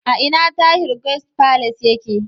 A ina Tahir Guest Palace yake?